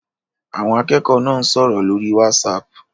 Àwọn akẹ́kọ̀ọ́ náà ń sọ̀rọ̀ lórí Whatsapp